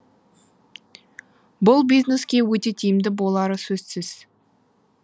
бұл бизнеске өте тиімді болары сөзсіз